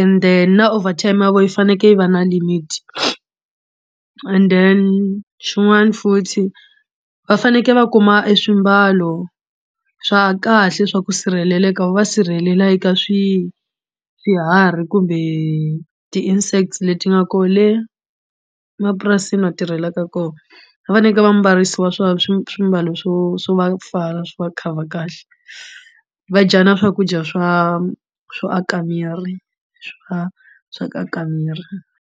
and then na over time ya vo yi fanekele yi va na limit and then swin'wana futhi va fanekele va kuma eswimbalo swa kahle swa ku sirheleleka va sirhelela eka swi swiharhi kumbe ti insects leti nga ko le mapurasini va tirhelaka kona va fanekele va mbarisiwa swa swimbalo swo swo va pfala swi va cover kahle va dya na swakudya swa swo aka miri swa swa ku aka miri.